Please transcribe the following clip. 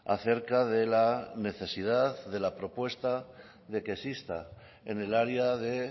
acerca de la necesidad de la propuesta de que exista en el área de